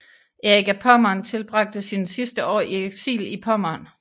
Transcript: Erik af Pommern tilbragte sine sidste år i eksil i Pommern